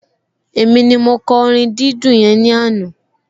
Èmi ni mo kọ orin dídùn yẹn ní àná